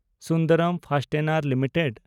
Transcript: Sundram fasteners limited